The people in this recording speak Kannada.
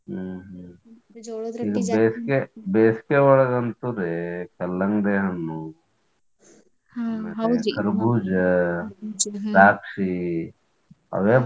ಹ್ಮ್ ಬೇಸಿಗೆಯೊಳಗಂತೂ ರೀ ಕಲ್ಲಂಗಡಿ ಹಣ್ಣು ಕರಬೂಜಾ, ದ್ರಾಕ್ಷಿ ಅವೇ